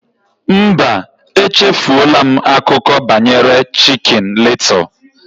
Mba, echefuola m akụkọ banyere Chicken Little